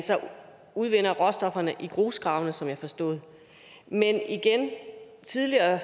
udvinder råstofferne i grusgravene som jeg forstår det men igen tidligere